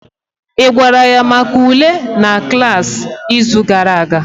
Ị gwara ya maka ule na klaasị izu gara aga